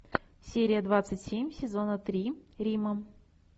серия двадцать семь сезона три рима